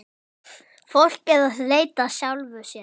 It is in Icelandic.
Fólk er að leita að sjálfu sér.